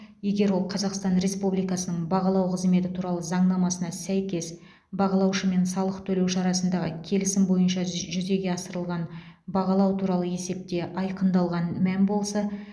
егер ол қазақстан республикасының бағалау қызметі туралы заңнамасына сәйкес бағалаушы мен салық төлеуші арасындағы келісім бойынша жүзеге асырылған бағалау туралы есепте айқындалған мән болса